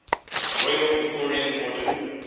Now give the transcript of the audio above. royal victorian order